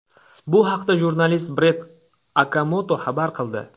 Bu haqda jurnalist Brett Okamoto xabar qildi .